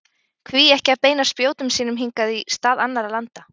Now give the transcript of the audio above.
Hví ekki að beina spjótum sínum hingað í stað annarra landa?